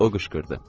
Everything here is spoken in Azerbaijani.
O qışqırdı.